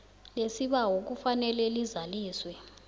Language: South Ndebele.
lesibawo kufanele lizaliswe